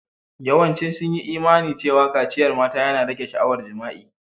Yawancin sun yi Imani cewa kaciyar mata yana rage sha'awar jima'i.